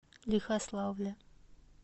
лихославля